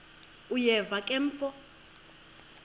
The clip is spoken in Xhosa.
uyeva ke mfo